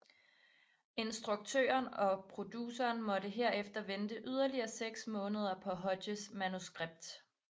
Instruktøren og produceren måtte derefter vente yderligere seks måneder på Hodges manuskript